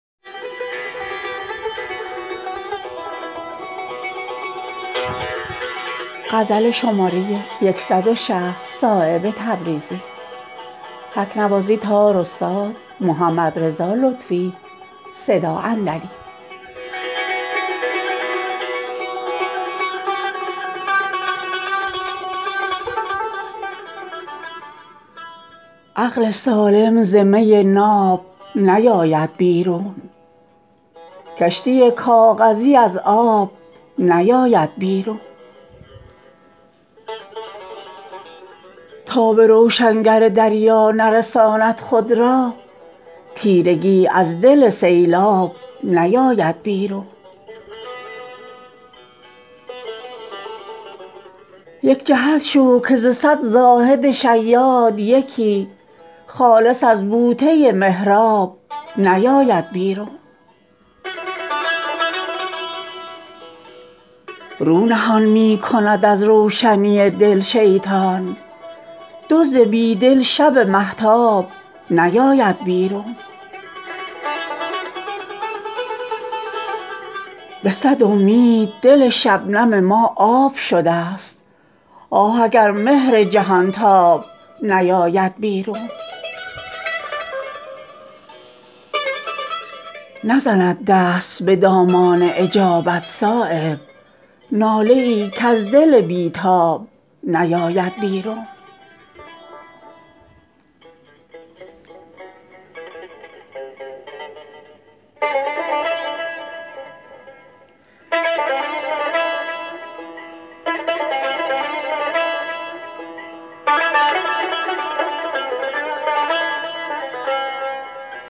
عقل سالم ز می ناب نیاید بیرون کشتی کاغذی از آب نیاید بیرون نیست ممکن نشود دل ز می ناب سیاه زنده اخگر ز ته آب نیاید بیرون تا به روشنگر دریا نرساند خود را تیرگی از دل سیلاب نیاید بیرون پای خوابیده بود در ته دامن بیدار زاهد آن به که ز محراب نیاید بیرون می برد عزت غربت وطن از یاد غریب آب از گوهر سیراب نیاید بیرون رزق کج بحث ز تحصیل بود دست تهی گوهر از بحر به قلاب نیاید بیرون لازم قامت خم گشته بود طول امل موج از حلقه گرداب نیاید بیرون یک جهت شو که ز صد زاهد شیاد یکی خالص از بوته محراب نیاید بیرون رو نهان می کند از روشنی دل شیطان دزد بیدل شب مهتاب نیاید بیرون مکن ای سنگدل از شکوه مرا منع که زخم می کشد زود چو خوناب نیاید بیرون در گرانجان نبود زخم زبان را تأثیر خون به نشتر ز رگ خواب نیاید بیرون خودنمایی نبود شیوه واصل شدگان زنده ماهی ز ته آب نیاید بیرون به صد امید دل شبنم ما آب شده است آه اگر مهر جهانتاب نیاید بیرون نزند دست به دامان اجابت صایب ناله ای کز دل بی تاب نیاید بیرون